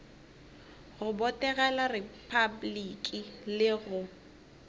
go botegela repabliki le go